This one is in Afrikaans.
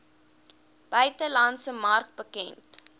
buitelandse mark bekend